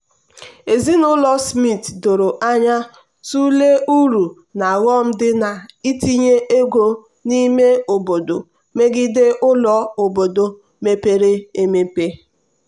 ezinụlọ smith doro anya tụlee uru na ọghọm dị na-itinye ego n'ime obodo megide ụlọ obodo mepere emepe.